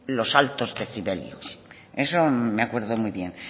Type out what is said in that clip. los altos decibelios eso me acuerdo muy bien